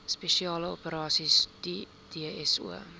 spesiale operasies dso